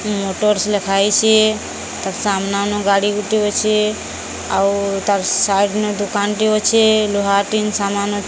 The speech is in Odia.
ମୋଟର୍ସ ଲେଖାହେଇଛି। ତାର ସାମନାନୁ ଗାଡିଗୁଟିଏ ଅଛି। ଆଉ ତାର ସାଇଟ ନେ ଦୁକାନଟିଏ ଅଛି ଲୁହା ଟିନ ସାମାନ --